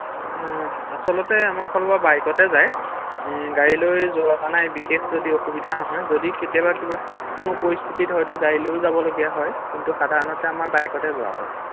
ও আচলতে আমাৰ ফালৰপৰা বাইকতে যায় ৷ও গাড়ী লৈ যোৱা হোৱা নাই বিশেষ যদি অসুবিধা নহয় ৷যদি কেতিয়াবা কিবা কোনো পৰিস্হিতিত হয়তো গাড়ী লৈ যাবলগীয়া হয় কিন্ত সাধাৰণতে আমাৰ বাইকতে যোৱা হয়৷